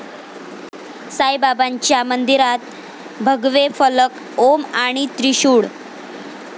साईबाबांच्या मंदिरात भगवे फलक ओम आणि त्रिशूळ